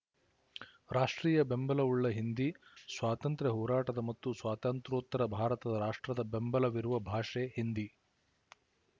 ರಾಷ್ಟ್ರೀಯ ಬೆಂಬಲವುಳ್ಳ ಹಿಂದಿ ಸ್ವಾತಂತ್ರ್ಯ ಹೋರಾಟದ ಮತ್ತು ಸ್ವಾತಂತ್ರ್ಯೋತ್ತರ ಭಾರತದ ರಾಷ್ಟ್ರದ ಬೆಂಬಲವಿರುವ ಭಾಷೆ ಹಿಂದಿ